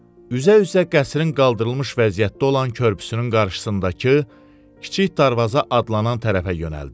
Üzə-üzə qəsrin qaldırılmış vəziyyətdə olan körpüsünün qarşısındakı kiçik darvaza adlanan tərəfə yönəldi.